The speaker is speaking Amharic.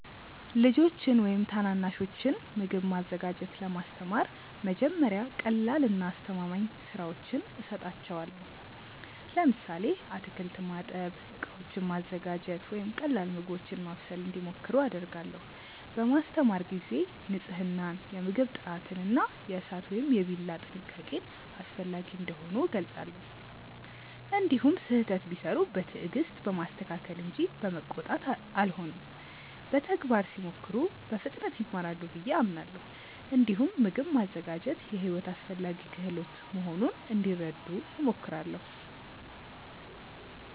ልጆችን ወይም ታናናሾችን ምግብ ማዘጋጀት ለማስተማር መጀመሪያ ቀላልና አስተማማኝ ሥራዎችን እሰጣቸዋለሁ። ለምሳሌ አትክልት ማጠብ፣ ዕቃዎችን ማዘጋጀት ወይም ቀላል ምግቦችን ማብሰል እንዲሞክሩ አደርጋለሁ። በማስተማር ጊዜ ንፅህናን፣ የምግብ ጥራትን እና የእሳት ወይም የቢላ ጥንቃቄን አስፈላጊ እንደሆኑ እገልጻለሁ። እንዲሁም ስህተት ቢሠሩ በትዕግስት በማስተካከል እንጂ በመቆጣት አልሆንም። በተግባር ሲሞክሩ በፍጥነት ይማራሉ ብዬ አምናለሁ። እንዲሁም ምግብ ማዘጋጀት የሕይወት አስፈላጊ ክህሎት መሆኑን እንዲረዱ እሞክራለሁ።